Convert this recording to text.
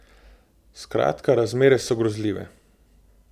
Skratka razmere so grozljive.